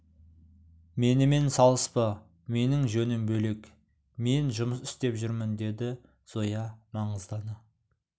менімен салыспа менің жөнім бөлек мен жұмыс істеп жүрмін деді зоя маңғаздана